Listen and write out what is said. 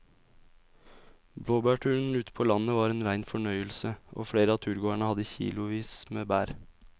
Blåbærturen ute på landet var en rein fornøyelse og flere av turgåerene hadde kilosvis med bær.